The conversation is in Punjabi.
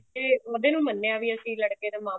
ਤੇ ਉਹਦੇ ਨੂੰ ਮੰਨਿਆ ਵੀ ਅਸੀਂ ਲੜਕੇ ਦਾ ਮਾਮਾ